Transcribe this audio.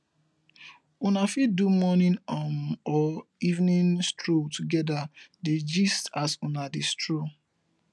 una fit do morning um or evening stroll together dey gist as una dey stroll